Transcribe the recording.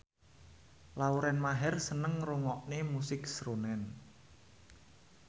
Lauren Maher seneng ngrungokne musik srunen